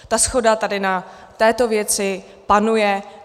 Ta shoda tady na této věci panuje.